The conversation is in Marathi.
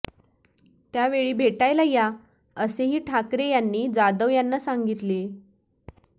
त्यावेळी भेटायला या असेही ठाकरे यांनी जाधव यांना सांगितले